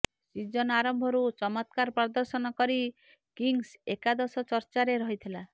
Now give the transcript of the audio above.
season ଆରମ୍ଭରୁ ଚମତ୍କାର ପ୍ରଦର୍ଶନ କରି କିଙ୍ଗ୍ସ ଏକାଦଶ ଚର୍ଚ୍ଚାରେ ରହିଥିଲା